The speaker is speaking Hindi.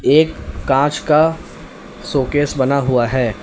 एक कांच का शोकेस बना हुआ है।